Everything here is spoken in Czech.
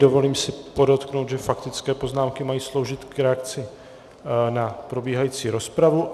Dovolím si podotknout, že faktické poznámky mají sloužit k reakci na probíhající rozpravu.